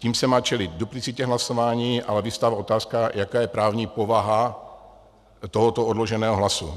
Tím se má čelit duplicitě hlasování, ale vyvstává otázka, jaká je právní povaha tohoto odloženého hlasu.